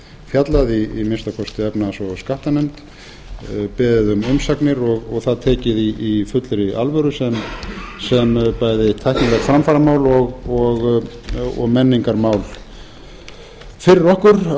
fjallað í að minnsta kosti efnahags og skattanefnd beðið um umsagnir og það tekið í fullri alvöru sem bæði tæknilegt framfaramál og menningarmál fyrir okkur á þeim tímum sem